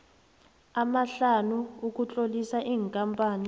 amahlanu ukutlolisa ikampani